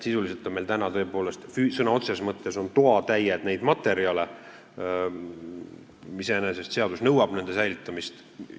Sisuliselt on meil sõna otseses mõttes toatäied neid materjale, iseenesest seadus nõuab nende säilitamist.